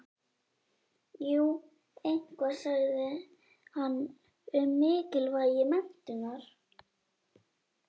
Jú eitthvað sagði hann um mikilvægi menntunar.